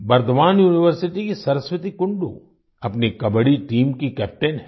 Burdwan university की सरस्वती कुंडू अपनी kabaddi team की कैप्टेन हैं